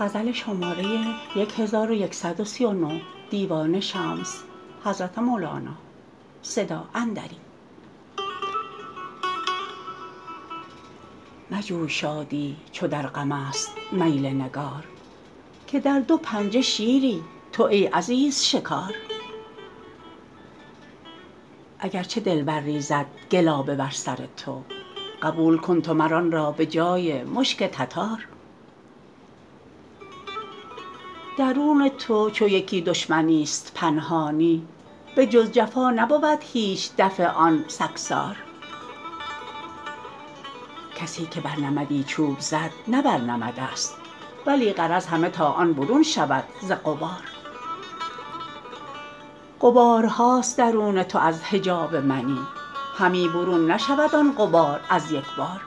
مجوی شادی چون در غمست میل نگار که در دو پنجه شیری تو ای عزیز شکار اگر چه دلبر ریزد گلابه بر سر تو قبول کن تو مر آن را به جای مشک تتار درون تو چو یکی دشمنیست پنهانی بجز جفا نبود هیچ دفع آن سگسار کسی که بر نمدی چوب زد نه بر نمدست ولی غرض همه تا آن برون شود ز غبار غبارهاست درون تو از حجاب منی همی برون نشود آن غبار از یک بار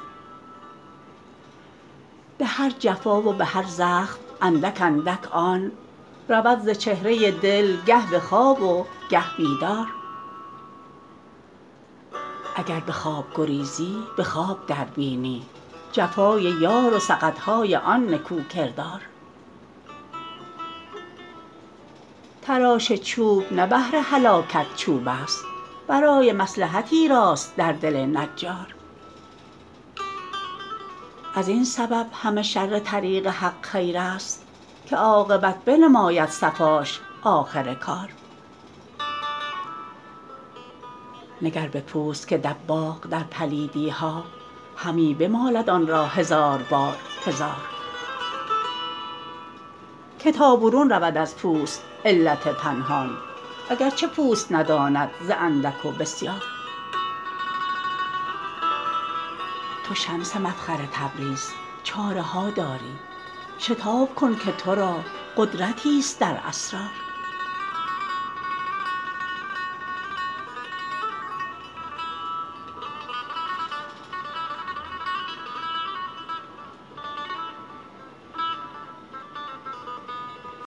به هر جفا و به هر زخم اندک اندک آن رود ز چهره دل گه به خواب و گه بیدار اگر به خواب گریزی به خواب دربینی جفای یار و سقط های آن نکوکردار تراش چوب نه بهر هلاکت چوبست برای مصلحتی راست در دل نجار از این سبب همه شر طریق حق خیرست که عاقبت بنماید صفاش آخر کار نگر به پوست که دباغ در پلیدی ها همی بمالد آن را هزار بار هزار که تا برون رود از پوست علت پنهان اگر چه پوست نداند ز اندک و بسیار تو شمس مفخر تبریز چاره ها داری شتاب کن که تو را قدرتیست در اسرار